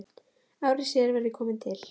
Ári síðar var ég kominn til